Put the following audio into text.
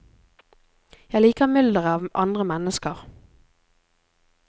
Jeg liker mylderet av andre mennesker.